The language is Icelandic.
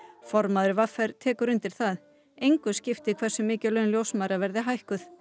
formaður v r tekur undir það engu skipti hversu mikið laun ljósmæðra verði hækkuð